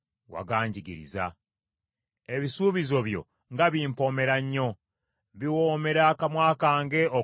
Ebisuubizo byo nga bimpoomera nnyo! Biwoomera akamwa kange okusinga omubisi gw’enjuki.